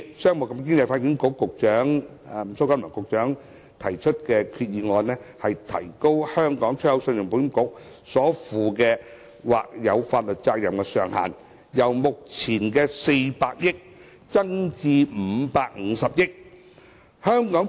商務及經濟發展局局長蘇錦樑先生今次提出的決議案，能提高信保局所負或有法律責任的上限，由目前的400億元增至550億元。